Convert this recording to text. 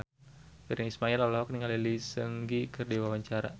Virnie Ismail olohok ningali Lee Seung Gi keur diwawancara